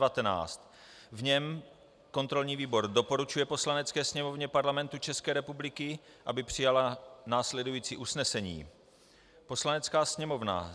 V něm kontrolní výbor doporučuje Poslanecké sněmovně Parlamentu České republiky, aby přijala následující usnesení: Poslanecká sněmovna